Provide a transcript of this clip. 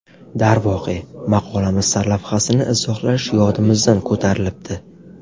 Darvoqe, maqolamiz sarlavhasini izohlash yodimizdan ko‘tarilibdi.